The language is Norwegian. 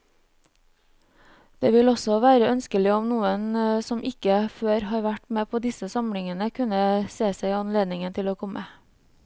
Det ville også være ønskelig om noen som ikke før har vært med på disse samlingene, kunne se seg anledning til å komme.